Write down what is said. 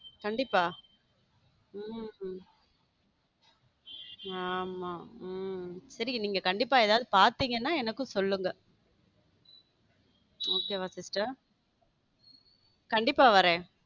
கண்டிப்பா ஆமா சேரி கண்டிப்பா நீங்க ஏதாவது பாத்தீங்கன்னா எனக்கும் சொல்லுங்க okay வா sister கண்டிப்பா வரேன்.